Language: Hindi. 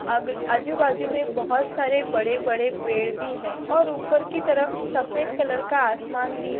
अग आजूबाजू मे बोहोत सारे बडेबडे पेड भी है और उपर कि तरफ सफेद कलर का आसमान भी--